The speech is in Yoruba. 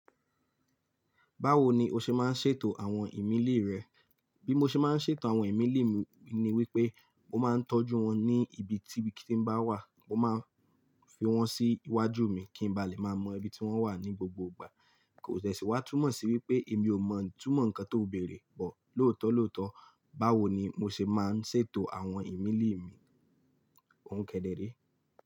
Báwo ni o ṣe máa ń ṣètò àwọn ìmíle rẹ? Bí mo ṣe máa ń ṣètò àwọn ìmíle mi ni wípé mo máa ń tọ́jú wọn ní ibi kí bí i tí ń bá wà, mo máa ń fi wọ́n sí iwájú mi kí n ba lè máa mọ ibi tí wọ́n wà ní gbogbo ìgbà. Kò dẹ sì wá túmọ̀ sí wípé èmi ò mọ̀ itúmọ̀ ǹkan tó bèrè, bọ̀ lóòótọ́ lóòótọ́ báwo ni mo ṣe máa ń ṣètò àwọn ìmílẹ̀ mi. Òún kẹdẹrẹ.